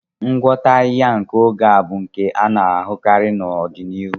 Ngwọta ahịhịa nke oge a ga-abụ nke a na-ahụkarị n'ọdịnihu.